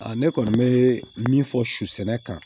ne kɔni bɛ min fɔ su sɛnɛ kan